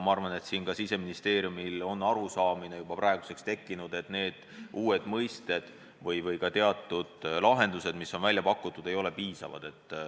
Ma arvan, et ka Siseministeeriumis on praeguseks juba tekkinud arusaam, et need uued mõisted või ka teatud lahendused, mis on välja pakutud, ei ole piisavad.